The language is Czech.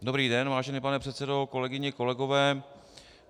Dobrý den, vážený pane předsedo, kolegyně, kolegové.